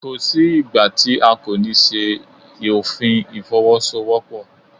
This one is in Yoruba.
Kò sí ìgbà tí a kò ní ṣe òfin Ìfọwọ́sowọ́pọ̀.